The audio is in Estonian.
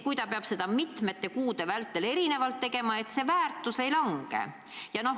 Kui ta peab seda mitmeid kuid ootama, siis kes tagab, et raha väärtus ei lange?